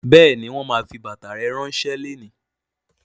Bẹẹni, wọn máa fi bàtà rẹ ránsẹ́ lónìí